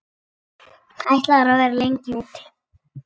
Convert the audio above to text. Ætlarðu að vera lengi úti?